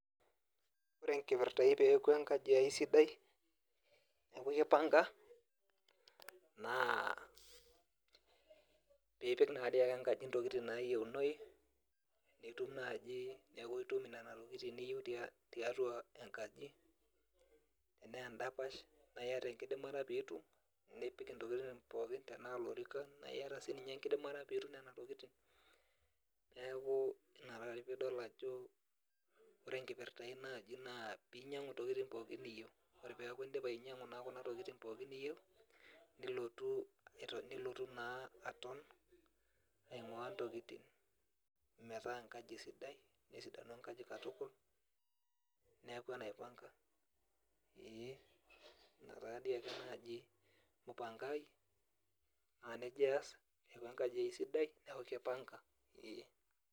Ore enkipirta aai peeku enkaji ai sidai peaku kipanga, naa piipik naadii enkaji intokitin naa yieunoi neeku itum nena tokitin nayiuni tiatua enkaji, enaa endapash enaa iyata enkidimata pee itum, nipik intokin pookin anaa ilorikan teniyata enkidimata pee itum nena tokitin, naa ina taatoi pii idol ajo ore enkirpta ai naaji naapoi inyiangu naa kuna tokitin pookin naaji niyieu, niltotu naa aton etii intokitin netaa enkaji sidai katukul neeku enaipanga ina naaji mpango ai neeku nejia aas neeku kipanga.